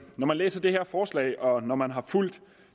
læser det her forslag og når man har fulgt